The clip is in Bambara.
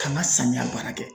K'an ka samiya baara kɛ.